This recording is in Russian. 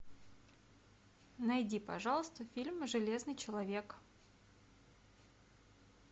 найди пожалуйста фильм железный человек